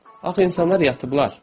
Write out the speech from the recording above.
Axı insanlar yatıblar.